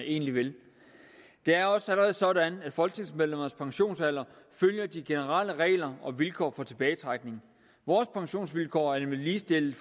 egentlig vil det er også allerede sådan at folketingsmedlemmers pensionsalder følger de generelle regler og vilkår for tilbagetrækning vores pensionsvilkår er nemlig ligestillet